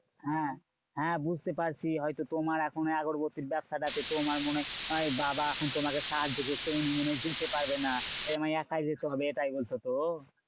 হ্যাঁ হ্যাঁ বুঝতে পারছি। হয়তো তোমার এখনো আগরবাতির ব্যাবসাটাতে তোমার মনে হয় বাবা এখন তোমাকে সাহায্য করতে উনি মনে হয় যেতে পারবে না। আমায় একাই যেতে হবে, এটাই বলছো তো?